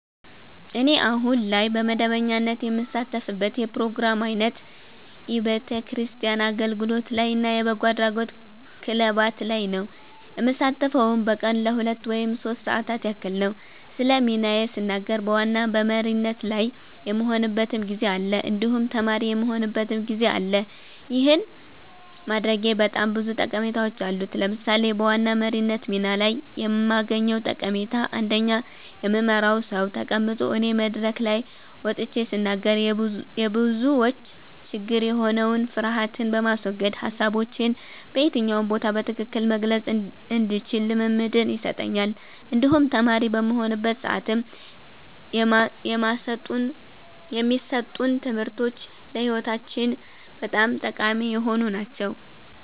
እኔ አሁን ላይ በመደበኛነት የምሳተፍበት የፕሮግራም አይነት የቤተክርስቲያን አገልግሎት ላይ እና የበጎ አድራጎት ክለባት ላይ ነዉ። የምሳተፈዉም በቀን ለሁለት ወይም ሶስት ሰዓታት ያክል ነዉ። ስለ ሚናዬ ስናገር በዋና በመሪነት ላይ የምሆንበትም ጊዜ አለ እንዲሁም ተማሪ የምሆንበትም ጊዜ አለ ይህን ማድረጌ በጣም ብዙ ጠቀሜታዎች አሉት። ለምሳሌ በዋና መሪነት ሚና ላይ የማገኘዉ ጠቀሜታ አንደኛ የምመራዉ ሰዉ ተቀምጦ እኔ መድረክ ላይ ወጥቼ ስናገር የብዙዎች ችግር የሆነዉን ፍርሀትን በማስወገድ ሀሳቦቼን በየትኛው ቦታ በትክክል መግለፅ እንድችል ልምምድን ይሰጠኛል እንዲሁም ተማሪ በምሆንበት ሰዓትም የማሰጡን ትምህርቶች ለህይወታችን በጣም ጠቃሚ የሆኑ ናቸዉ።